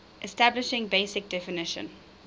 establishing basic definition